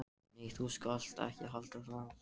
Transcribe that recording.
Nei, þú skalt ekki halda það!